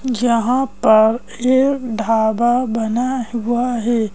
यहाँ पर एक धाबा बना हुआ है।